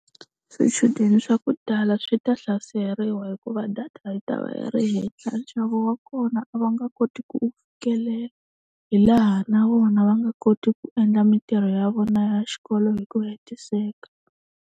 Swichudeni swa ku tala swi ta hlaseriwa hikuva data yi ta va yi ri henhla, nxavo wa kona a va nga koti ku wu fikelela. Hi laha na vona va nga koti ku endla mintirho ya vona ya xikolo hi ku hetiseka.